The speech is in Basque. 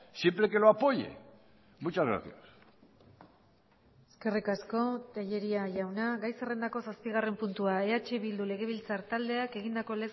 siempre que lo apoye muchas gracias eskerrik asko tellería jauna gai zerrendako zazpigarren puntua eh bildu legebiltzar taldeak egindako